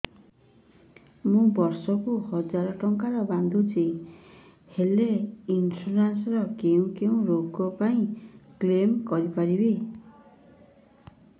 ମୁଁ ବର୍ଷ କୁ ହଜାର ଟଙ୍କା ବାନ୍ଧୁଛି ହେଲ୍ଥ ଇନ୍ସୁରାନ୍ସ ରେ କୋଉ କୋଉ ରୋଗ ପାଇଁ କ୍ଳେମ କରିପାରିବି